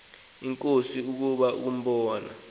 inkosi ukuza kumbona